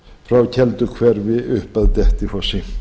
frá kelduhverfi upp að dettifossi